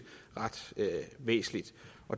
ret væsentligt